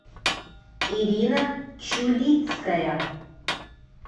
ирина чулицкая